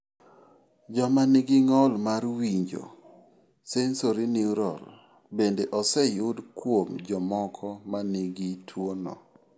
Joma nigi ng'ol mar winjo sensorineural bende oseyud kuom jomoko ma nigi tuwono.